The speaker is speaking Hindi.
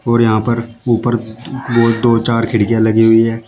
और यहां पर ऊपर वह दो चार खिड़कियां लगी हुई है।